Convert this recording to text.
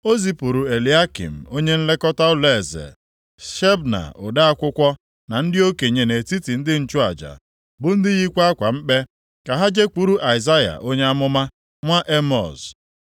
O zipụrụ Eliakịm, onye nlekọta ụlọeze, Shebna ode akwụkwọ na ndị okenye nʼetiti ndị nchụaja, bụ ndị yikwa akwa mkpe, ka ha jekwuru Aịzaya onye amụma, nwa Emọz.